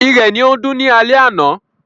Ìrẹ̀ ni ó ń dún ni alẹ́ àná.